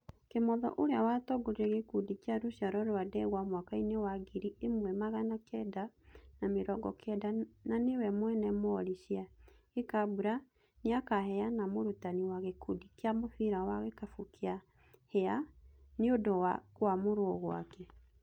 Kĩmotho ũrĩa watongoririe gĩkundi kĩa rũciaro rwa Ndegwa mwakaĩni wa ngiri ĩmwe magana kenda na mĩrongo kenda na nĩwe mwene Mori cĩa Gĩkambura nĩakaheana mũrutani wa gĩkundi kĩa mũbira wa gĩkabũ kĩa Hĩa nĩũndũ wa kũamũrũo gwake.